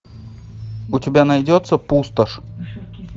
у тебя найдется пустошь